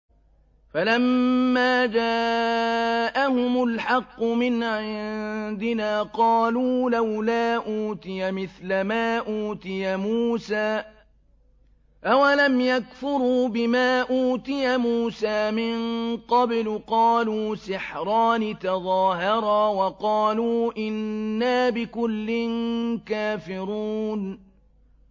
فَلَمَّا جَاءَهُمُ الْحَقُّ مِنْ عِندِنَا قَالُوا لَوْلَا أُوتِيَ مِثْلَ مَا أُوتِيَ مُوسَىٰ ۚ أَوَلَمْ يَكْفُرُوا بِمَا أُوتِيَ مُوسَىٰ مِن قَبْلُ ۖ قَالُوا سِحْرَانِ تَظَاهَرَا وَقَالُوا إِنَّا بِكُلٍّ كَافِرُونَ